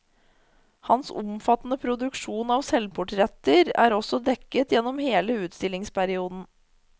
Hans omfattende produksjon av selvportretter er også dekket gjennom hele utstillingsperioden.